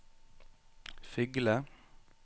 Fygle